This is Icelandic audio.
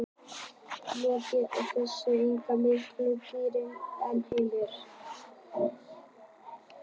Logi Bergmann Eiðsson: Er ekki mikið um dýrðir í höllinni Heimir?